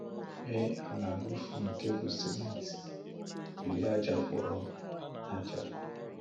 Mee àlà rọ́ọ̀fù nke bụ́ sìmẹ́ntì, jiri ájàkpọ̀rọ̀ ájá